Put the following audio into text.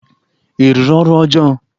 Ị rụrụ ọrụ ọjọọ!